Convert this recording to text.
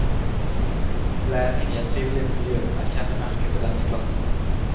Læring i et trivelig miljø er kjennemerke på denne klassen.